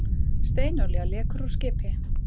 Steinolía lekur úr skipi